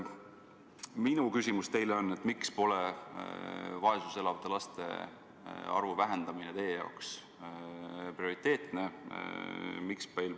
Minu küsimus teile on: miks pole vaesuses elavate laste arvu vähendamine teie jaoks prioriteetne?